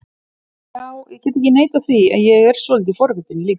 Já, ég get ekki neitað því að ég er svolítið forvitinn líka